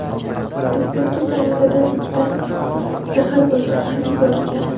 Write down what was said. Prezidentga Kanadadan ichida zahar bo‘lgan xat yuborilgan.